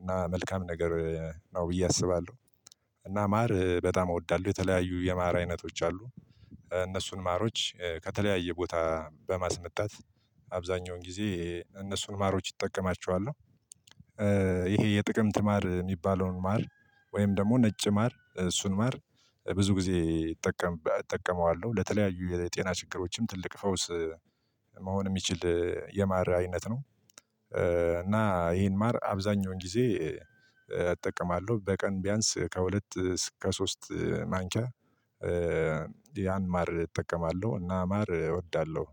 እና መልካም ነገር ነው ብዬ አስባለሁ። እና ማር በጣም እወዳለሁ የተለያዩ የማር አይነቶች አሉ። እነሱን ማሮች ከተለያየ ቦታ በማስመጣት አብዛኛውን ጊዜ እነሱን ማሮች እጠቀማቸዋለሁ። ይሄ የጥቅምት ማር የሚባለውን ማር ወይም ደግሞ ነጭ ማር እሱን ማር ብዙ ጊዜ እጠቀመዋለሁ። ለተለያዩ የጤና ችግሮችም ትልቅ ፈውስ መሆን የሚችል የማር አይነት ነው። እና ይህን ማር አብዛኛውን ጊዜ እጠቀማለሁ። በቀን ቢያንስ ከሁለት እስከ ሶስት ማንኪያ ያን ማር እጠቀማለሁ እና ማር እወዳለሁ።